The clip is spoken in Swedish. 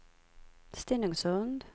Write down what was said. Stenungsund